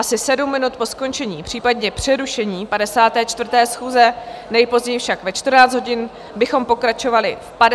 Asi 7 minut po skončení, případně přerušení 54. schůze, nejpozději však ve 14 hodin, bychom pokračovali v 53. schůzi.